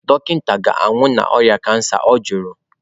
"Dọkịta ga-anwụ n'ọrịa cancer? Ọ jụrụ"